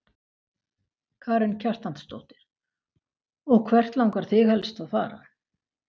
Karen Kjartansdóttir: Og hvert langar þig helst að fara?